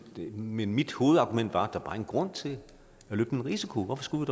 men mit hovedargument var at der bare grund til at løbe den risiko hvorfor skulle